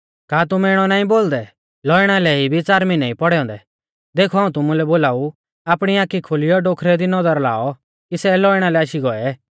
का तुमै इणौ नाईं बोलदै लौइणा लै इबी च़ार मिहनै ई पौड़ै औन्दै देखौ हाऊं तुमुलै बोलाऊ आपणी आखी खोलियौ डोखरै दी नौदर लाऔ कि सै लौइणा लै आशी गौऐ